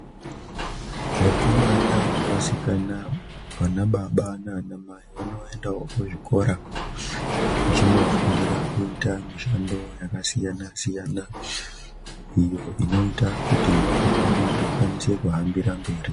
Vakomana nevasikana , vanababa nana amai, vanoyenda kuzvikora zvinofundira kuita mishando yakasiyana siyana. Iyo inoita kuti nyika yedu ikwanise kuhambira mberi.